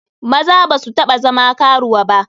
Maza ba su taba zama karuwa ba.